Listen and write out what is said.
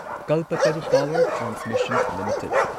Kalpataru power transmission limited